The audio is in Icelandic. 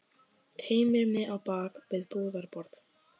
Teymir mig á bak við búðarborð.